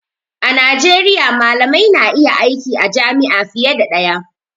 A Najeriya malamai na iya aiki a jami'a fiye da ɗaya